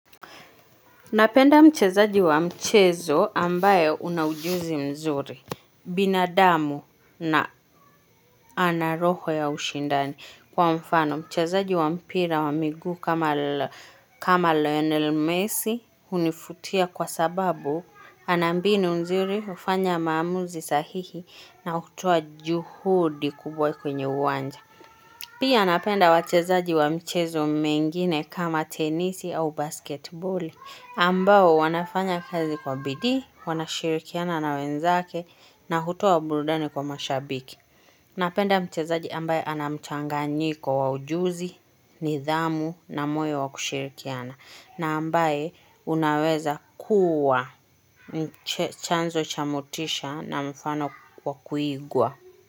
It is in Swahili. Napenda mchezaji wa mchezo ambaye una ujuzi mzuri, binadamu na anaroho ya ushindani kwa mfano. Mchezaji wa mpira wa miguu kama Lionel Messi unifutia kwa sababu anambinu mnzuri ufanya maamuzi sahihi na utoa juhudi kubwa kwenye uwanja. Pia napenda wachezaji wa mchezo mengine kama tenisi au basketboli ambao wanafanya kazi kwa bidii, wanashirikiana na wenzake na hutoa burudani kwa mashabiki. Napenda mchezaji ambaye anamchanganyiko wa ujuzi, nidhamu na moyo wa kushirikiana na ambaye unaweza kuwa chanzo chamotisha na mfano wa kuigwa.